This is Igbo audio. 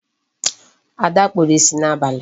Ada kpuru ìsì n'abali.